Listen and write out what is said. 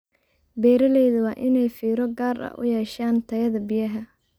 Beeralayda waa inay fiiro gaar ah u yeeshaan tayada biyaha.